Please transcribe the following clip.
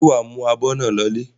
Ṣé wà á mú abọ́ náà lọlé?